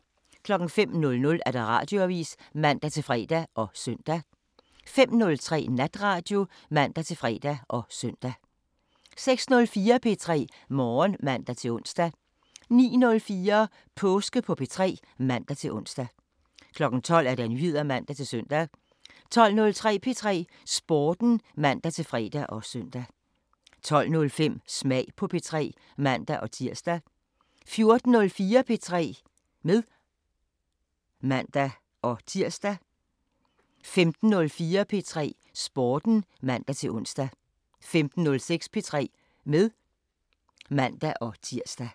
05:00: Radioavisen (man-fre og søn) 05:03: Natradio (man-fre og søn) 06:04: P3 Morgen (man-ons) 09:04: Påske på P3 (man-ons) 12:00: Nyheder (man-søn) 12:03: P3 Sporten (man-fre og søn) 12:05: Smag på P3 (man-tir) 14:04: P3 med (man-tir) 15:04: P3 Sporten (man-ons) 15:06: P3 med (man-tir)